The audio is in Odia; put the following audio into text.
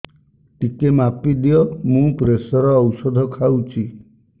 ଟିକେ ମାପିଦିଅ ମୁଁ ପ୍ରେସର ଔଷଧ ଖାଉଚି